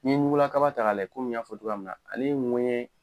N'i ye ɲugula kaba ta k'a layɛ komi n y'a fɔ cogo min na ale ye ŋuwɛɲɛ